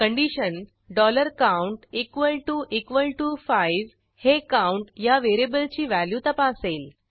condition count equal to equal to 5 हे count या व्हेरिएबलची व्हॅल्यू तपासेल